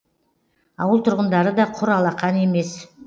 ауыл тұрғындары да құр алақан емес